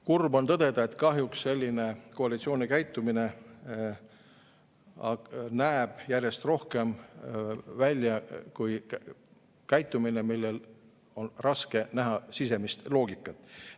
Kurb on tõdeda, et kahjuks selline koalitsiooni käitumine näeb järjest rohkem välja kui käitumine, milles on raske näha sisemist loogikat.